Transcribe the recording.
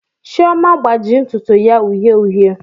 Chioma agbaji ntutu ya uhie uhie